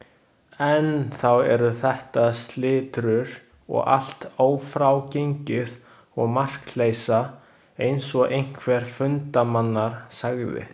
Enn þá eru þetta slitrur og allt ófrágengið og markleysa, eins og einhver fundarmanna sagði.